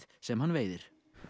sem hann veiðir